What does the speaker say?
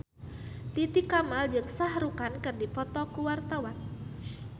Titi Kamal jeung Shah Rukh Khan keur dipoto ku wartawan